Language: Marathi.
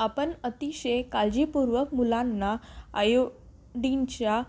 आपण अतिशय काळजीपूर्वक मुलांना आयोडीनच्या